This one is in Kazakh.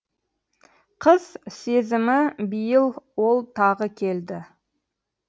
қыз сезімібиыл ол тағы келді